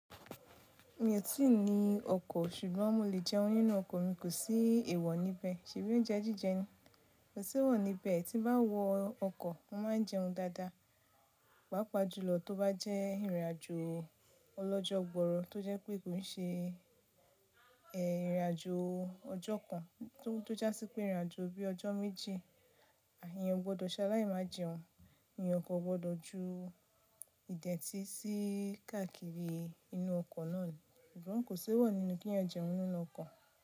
Mi ò tí ì ní ọkọ̀, ṣùgbọ́n mo lè jẹun nínú ọkọ̀ mi kò sí èèwọ̀ níbẹ̀. Ṣèbí oúnjẹ jíjẹ nì, kò sí wọ́n níbẹ̀, tí bá wọ ọkọ̀, wọ́n máa ń jẹun dáadáa, pàápàá jùlọ tó bá jẹ́ ìrìnàjò ọlọ́jọ́ gbọrọ, tó jẹ́ pé kò ní ṣe ìrìnàjò ọjọ́ kan, tó jásí pé ìrìnàjò bí i ọjọ́ méjì, èèyàn o gbọdọ̀ ṣaláì má jẹun, èèyàn kò gbọdọ̀ ju ìdẹ̀ntí sí káàkiri inú ọkọ̀ náà ni. Ṣùgbọ́n kò sí wọ́n nínú kí èèyàn jẹun nínú ọkọ̀